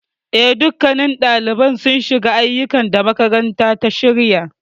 Eh, dukkannin ɗaliban sun shiga aiyukan da makarantar ta shirya.